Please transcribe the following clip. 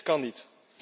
Dit kan niet.